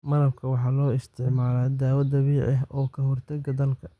Malabka waxa loo isticmaalaa dawo dabiici ah oo ka hortaga daalka.